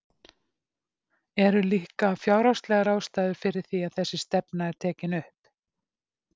Eru líka fjárhagslegar ástæður fyrir því að þessi stefna er tekin upp?